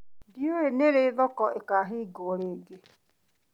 Ndiũĩ nĩ rĩ thoko ĩkahingũrwo rĩngĩ.